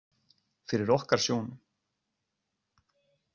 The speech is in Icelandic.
Fyrir okkar sjónum.